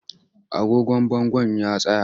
Agogon bangon ya tsaya.